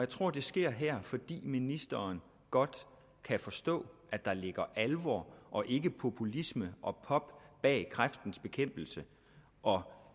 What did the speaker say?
tror det sker her fordi ministeren godt kan forstå at der ligger alvor og ikke populisme og pop bag kræftens bekæmpelses og